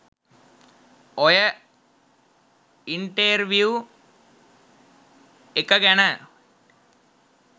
ඔය ඉන්ටෙර්විව් එක ගැන